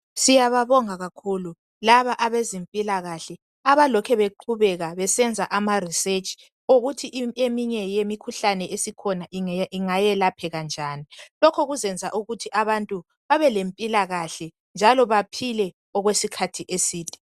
siyababonga kakhulu laba abezempilakhle abalokhe beqhubeka besenza ama research okokuthi eminye yemikhuhlane esikhona ingayelapheka njani lokhu kuzenza ukuthi abantu babe lempilakahle njalo baphile okwesikhathi eside